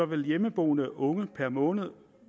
vil hjemmeboende unge per måned